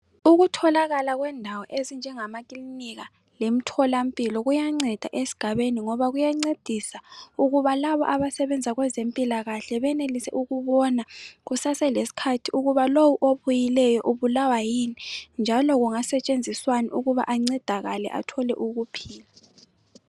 Ukutholakala kwendawo ezinjengamakilinika lemtholampilo kuyanceda esigabeni ngoba kuyancedisa ukuba labo abasebenza kwezempilakahle benelise ukubona kusaselesikhathi ukuba lowu obuyileyo ubulawa yini njalo kungasetshenziswani ukuba ancedakale athole ukuphila.